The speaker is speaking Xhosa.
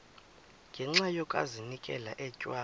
ngenxa yokazinikela etywa